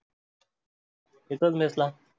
इथच mess ला.